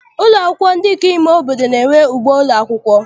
Ụlọ akwụkwọ ndị nke ime obodo na-enwe ugbo ụlọakwụkwọ.